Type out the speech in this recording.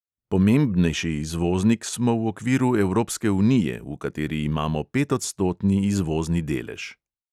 Pomembnejši izvoznik smo v okviru evropske unije, v kateri imamo petodstotni izvozni delež.